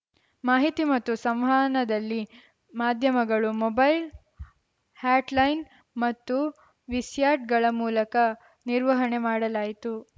ಮಾಹಿತಿ ಮತ್ತು ಸಂವಹನದಲ್ಲಿ ಮಾಧ್ಯಮಗಳು ಮೊಬೈಲ್‌ ಹಾಟ್‌ಲೈನ್‌ ಮತ್ತು ವಿಸ್ಯಾಟ್‌ಗಳ ಮೂಲಕ ನಿರ್ವಹಣೆ ಮಾಡಲಾಯಿತು